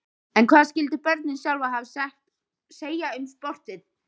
En hvað skyldu börnin sjálf hafa að segja um sportið?